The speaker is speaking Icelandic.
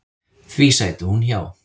Því sæti hún hjá.